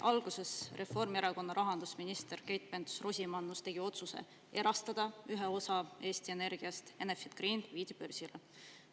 Alguses Reformierakonna rahandusminister Keit Pentus-Rosimannus tegi otsuse erastada üks osa Eesti Energiast, Enefit Green viidi börsile.